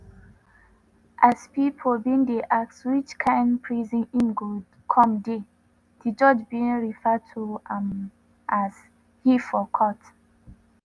as pipo bin dey ask which kain prison im go come dey di judge bin refer to am as 'he' for court.